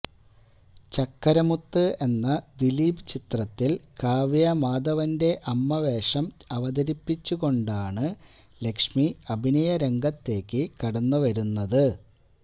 ചക്കരമുത്ത് എന്ന ദിലീപ് ചിത്രത്തില് കാവ്യാ മാധവന്റെ അമ്മ വേഷം അവതരിപ്പിച്ചുക്കൊണ്ടാണ് ലക്ഷ്മി അഭിനയരംഗത്തേക്ക് കടന്ന് വരുന്നത്